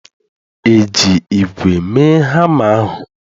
Eji ígwè mee hama ahụ?